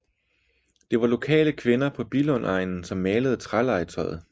Det var lokale kvinder på Billundegnen som malede trælegetøjet